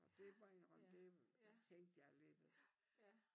Og det må jeg indrømme det tænkte jeg lidt